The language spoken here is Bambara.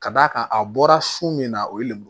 Ka d'a kan a bɔra sun min na o ye lemuru